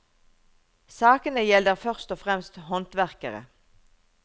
Sakene gjelder først og fremst håndverkere.